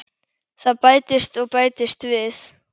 Það bætist og bætist við.